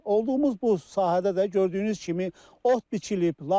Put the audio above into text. Olduğumuz bu sahədə də gördüyünüz kimi ot biçilib.